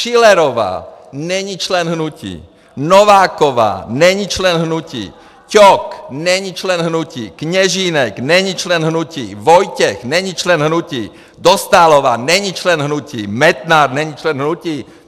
Schillerová není člen hnutí, Nováková není člen hnutí, Ťok není člen hnutí, Kněžínek není člen hnutí, Vojtěch není člen hnutí, Dostálová není člen hnutí, Metnar není člen hnutí!